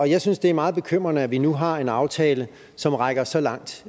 jeg synes det er meget bekymrende at vi nu har en aftale som rækker så langt